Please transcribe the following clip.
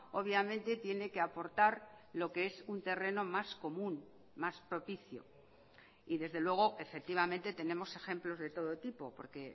obviamente tiene que aportar lo que es un terreno más común más propicio y desde luego efectivamente tenemos ejemplos de todo tipo porque